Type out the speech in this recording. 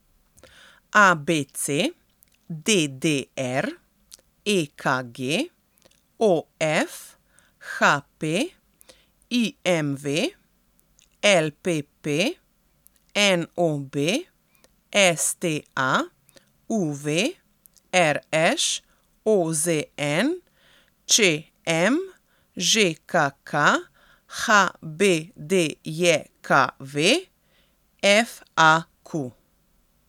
A B C; D D R; E K G; O F; H P; I M V; L P P; N O B; S T A; U V; R Š; O Z N; Č M; Ž K K; H B D J K V; F A Q.